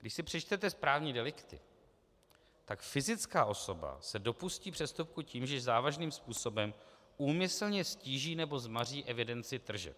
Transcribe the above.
Když si přečtete správní delikty, tak fyzická osoba se dopustí přestupku tím, že závažným způsobem úmyslně ztíží nebo zmaří evidenci tržeb.